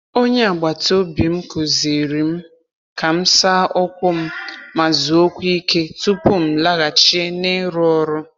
Onye agbata obi m kụziiri m ka m saa ụkwụ m ma zuokwa ike tupu m laghachie n’iru ọrụ